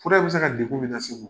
Fura in bɛ se ka degun min lase u ma.